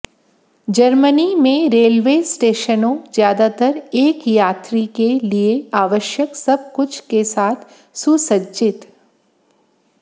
Germany में railway स्टेशनों ज्यादातर एक यात्री के लिए आवश्यक सब कुछ के साथ सुसज्जित